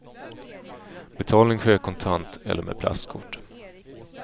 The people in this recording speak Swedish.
Betalning sker kontant eller med plastkort.